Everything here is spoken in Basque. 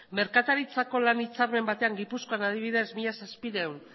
merkataritzako lan hitzarmen batean gipuzkoan adibidez mila zazpiehun